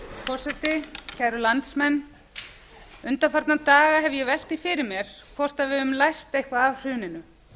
forseti kæru landsmenn undanfarna daga hef ég velt því fyrir mér hvort við höfum lært eitthvað af hruninu